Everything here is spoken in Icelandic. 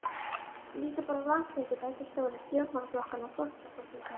Líttu bara á landsfundi beggja stóru stjórnmálaflokkanna og forsetakosningarnar.